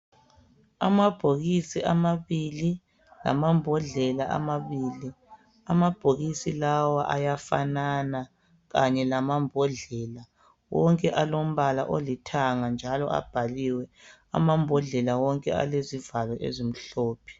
Amabhokisi amabili lamambodlela amabili, amabhokisi lawa ayafanana kanye lamambodlela. Wonke alombala olithanga njalo abhaliwe, amambodlela wonke alezivalo ezimhlophe.